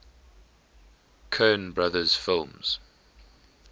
coen brothers films